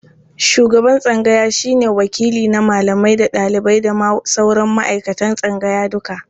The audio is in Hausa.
Shuban tsangaya shi ne wakili na malamai da ɗalibai da ma sauran ma'aikatan tsangaya duka.